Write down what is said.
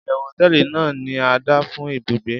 iyewu hoteeli ni ada fun ibùgbé